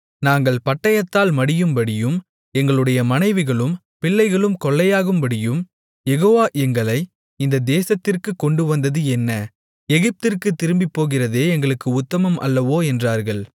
நாங்கள் பட்டயத்தால் மடியும்படியும் எங்களுடைய மனைவிகளும் பிள்ளைகளும் கொள்ளையாகும்படியும் யெகோவா எங்களை இந்த தேசத்திற்குக் கொண்டு வந்தது என்ன எகிப்திற்குத் திரும்பிப் போகிறதே எங்களுக்கு உத்தமம் அல்லவோ என்றார்கள்